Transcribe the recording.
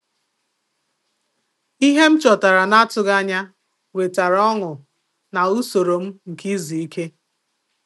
Ìhè m chọtara n’atụghị ànyà wetara ọṅụ ná usoro m nke izu ike.